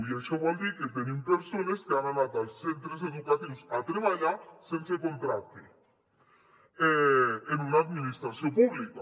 i això vol dir que tenim persones que han anat als centres educatius a treballar sense contracte en una administració pública